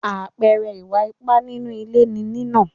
Àpẹẹrẹ Ìwà ipá nínú ilé ni nínà.